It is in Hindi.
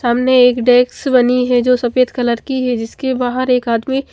सामने एक डेक्स बनी है जो सफेद कलर की है जिसके बाहर एक आदमी--